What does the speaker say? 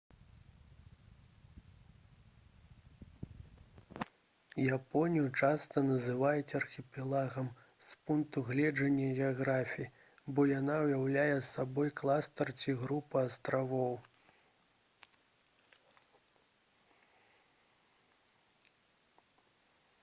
японію часта называюць «архіпелагам» з пункту гледжання геаграфіі бо яна ўяўляе сабой кластар ці групу астравоў